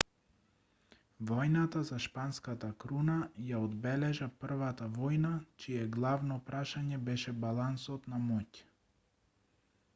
војната за шпанската круна ја одбележа првата војна чие главно прашање беше балансот на моќ